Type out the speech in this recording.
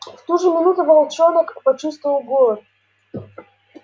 в ту же минуту волчонок почувствовал голод